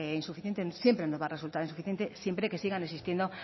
insuficiente siempre nos va a resultar insuficiente siempre que sigan existiendo